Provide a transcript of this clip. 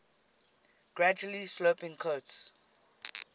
gradually sloping coasts